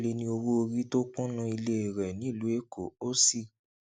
ó sọ pé o lè ní owó orí tó kúnnú ilé rẹ nílùú èkó ó sì